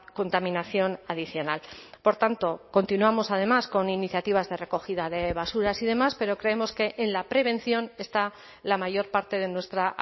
contaminación adicional por tanto continuamos además con iniciativas de recogida de basuras y demás pero creemos que en la prevención está la mayor parte de nuestra